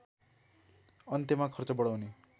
अन्त्यमा खर्च बढाउने